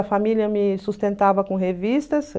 A família me sustentava com revistas.